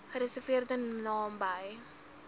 gereserveerde naam bly